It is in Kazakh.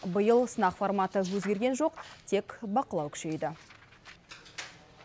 биыл сынақ форматы өзгерген жоқ тек бақылау күшейді